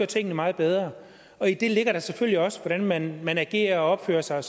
tingene meget bedre i det ligger der selvfølgelig også hvordan man man agerer og opfører sig